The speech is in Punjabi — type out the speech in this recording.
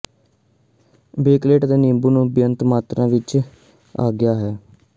ਬੇਕਹਲੇਟ ਅਤੇ ਨਿੰਬੂ ਨੂੰ ਬੇਅੰਤ ਮਾਤਰਾ ਵਿਚ ਆਗਿਆ ਹੈ